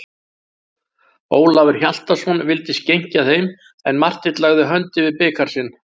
Ólafur Hjaltason vildi skenkja þeim, en Marteinn lagði hönd yfir bikar sinn.